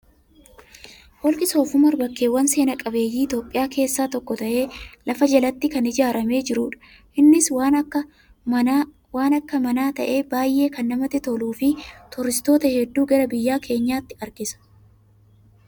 Holqi soof umar bakkeewwan seenaaqabeeyyii Itoophiyaa keessaa tokko ta'ee, lafa jalatti kan ijaaramee jirudha. Innis waan akka manaa ta'ee baay'ee kana namatti toluu fi turistoota hedduu gara biyya keenyaatti harkisa.